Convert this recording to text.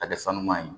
A kɛ san ɲuman ye